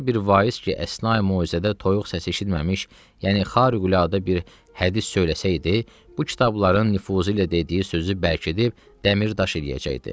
Hər bir vaiz ki, əsnayi möizədə toyuq səsi eşitməmiş, yəni xariqüladə bir hədis söyləsəydi, bu kitabların nüfuzu ilə dediyi sözü bərkidib dəmir-daş eləyəcəkdi.